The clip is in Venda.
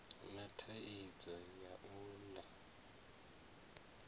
na thaidzo ya u ḽa